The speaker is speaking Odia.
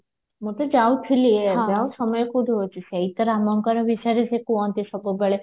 ମୁଁ ତ ଯାଉଥିଲି ଏବେ ଆଉ ସମୟ କଉଠି ହଉଚି ସେଇ ତ ରାମଙ୍କର ବିଷୟରେ ସେ କୁହନ୍ତି ସବୁବେଳେ